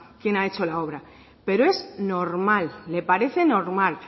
quién ha hecho la obra pero es normal le parece normal